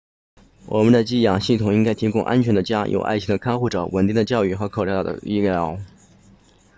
我们的寄养系统应该提供安全的家有爱心的看护者稳定的教育和可靠的医疗